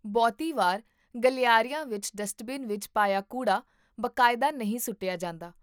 ਬਹੁਤੀ ਵਾਰ ਗਲਿਆਰਿਆਂ ਵਿੱਚ ਡਸਟਬਿਨ ਵਿੱਚ ਪਾਇਆ ਕੂੜਾ ਬਾਕਾਇਦਾ ਨਹੀਂ ਸੁੱਟਿਆ ਜਾਂਦਾ